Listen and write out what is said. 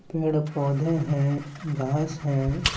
पेड़ -पौधे हैं घास हैं।